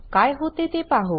काय होते ते पाहू